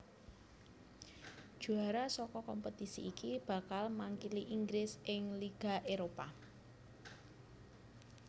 Juara saka kompetisi iki bakal makili Inggris ing Liga Éropah